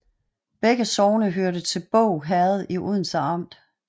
Begge sogne hørte til Båg Herred i Odense Amt